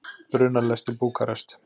Brunar lest til Búkarest.